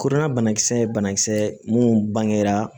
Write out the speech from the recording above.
Kodɔnna bana kisɛ ye banakisɛ ye mun bangera